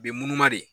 Bi munumunu de